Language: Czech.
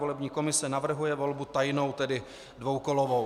Volební komise navrhuje volbu tajnou, tedy dvoukolovou.